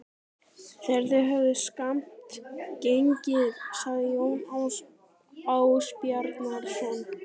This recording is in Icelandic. Þegar þeir höfðu skammt gengið sagði Jón Ásbjarnarson